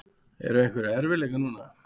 Eru einhverjir erfiðleikar núna?